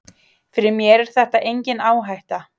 Fyrir mér er þetta engin áhætta.